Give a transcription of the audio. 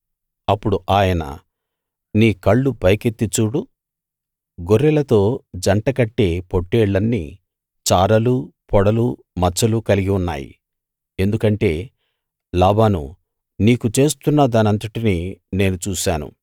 అప్పుడు ఆయన నీ కళ్ళు పైకెత్తి చూడు గొర్రెలతో జంటకట్టే పొట్టేళ్ళన్నీ చారలు పొడలు మచ్చలు కలిగి ఉన్నాయి ఎందుకంటే లాబాను నీకు చేస్తున్న దానంతటినీ నేను చూశాను